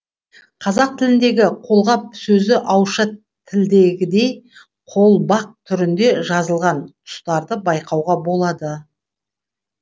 қазақ тіліндегі қолғап сөзі ауызша тілдегідей қолбақ түрінде жазылған тұстарды байқауға болады